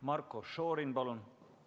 Marko Šorin, palun!